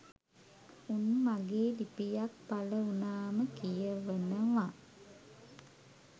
උන් මගේ ලිපියක් පළ වුණාම කියවනව